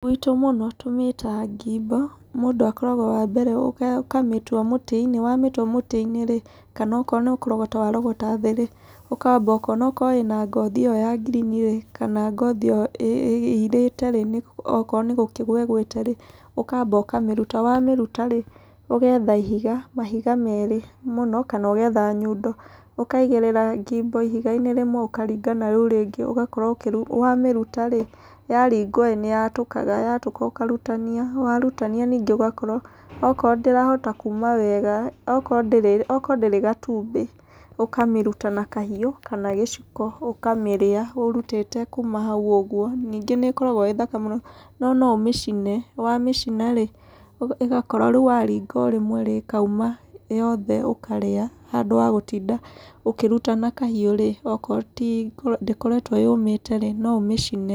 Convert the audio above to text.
Gwitũ mũno tũmĩtaga ngimbo. Mũndũ akoragwo wa mbere ũkamĩtua mũtĩ-inĩ. Wamĩtua mũtĩ-inĩ rĩ, kana okorwo no kũrogota warogota thĩ rĩ, ũkamba ũkona ũkorwo ĩna ngothi ĩyo ya ngirini ĩ, kana ngothi ĩyo ĩirĩte rĩ, okorwo nĩ gũkĩgũa ĩgũĩte rĩ, ũkamba ũkamĩruta. Wamĩruta rĩ, ũgetha ihiga, mahiga meerĩ mũno, kana ũgetha nyundo, ũkaigĩrĩra ngimbo ihiga-inĩ rĩmwe ũkaringa nĩ rĩu rĩngĩ. Ũgakorwo ũkĩmĩruta wamĩruta rĩ, yaringwo ĩ, nĩ yatũkaga. Yatũka ũkarutania, warutania ningĩ ũgakorwo okorwo ndĩrahota kuuma wega, okorwo ndĩrĩ okoro ndĩrĩ gatumbĩ, ũkamĩruta na kahiũ, kana gĩciko ũkamĩrĩa ũrutĩte kuuma hau ũguo. Ningĩ nĩ ĩkoragwo ĩĩ thaka mũno. No no ũmĩcine. Wamĩcina rĩ, ĩgakorwo rĩu waringa o rĩmwe rĩ ĩkauma, yothe ũkarĩa handũ wa gũtinda ũkĩruta na kahiũ rĩ, okorwo ti ndĩkoretwo yũmĩte rĩ no ũmĩcine.